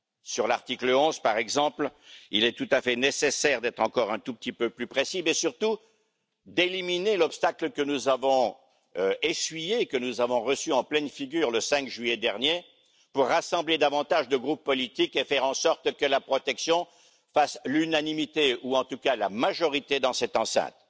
Sur l'article 11 par exemple, il est tout à fait nécessaire d'être encore un tout petit peu plus précis, mais surtout d'éliminer l'obstacle que nous avons reçu en pleine figure le 5 juillet dernier, pour rassembler davantage de groupes politiques et faire en sorte que la protection fasse l'unanimité, ou en tout cas la majorité dans cette enceinte.